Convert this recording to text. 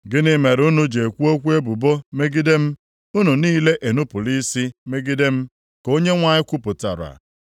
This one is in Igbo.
“Gịnị mere unu ji ekwu okwu ebubo megide m? Unu niile enupula isi megide m,” ka Onyenwe anyị kwupụtara.